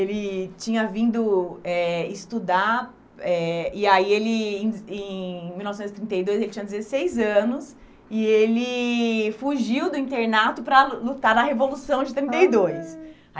Ele tinha vindo eh estudar, eh e aí, ele em em mil novecentos e trinta e dois, ele tinha dezesseis anos, e ele fugiu do internato para lutar na Revolução de trinta e dois.